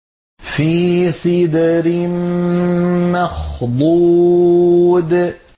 فِي سِدْرٍ مَّخْضُودٍ